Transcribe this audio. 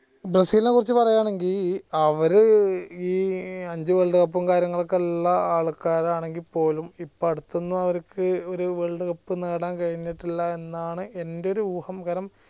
ബ്രസീലിനെ കുറിച്ച പറയാണേൽ അവര് ഈ അഞ്ചു world cup ഉം കാര്യങ്ങളൊക്കെ ഉള്ള ആൾകാരാണെങ്കി പോലും ഇപ്പൊ അടുത്തൊന്നും അവരിക്ക് ഒരു world cup നേടാൻ കഴിഞ്ഞിട്ടില്ല എന്നാണ് എന്റെ ഒരു ഊഹം